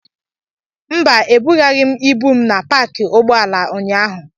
Mba, ebugaghị m ibu m na paakị ụgbọala ụnyaahụ.